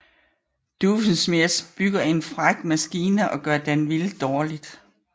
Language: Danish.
Doofenshmirtz bygger en fræk maskine og gør Danville dårligt